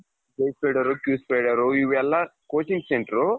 ಇವೆಲ್ಲ coaching centerರು.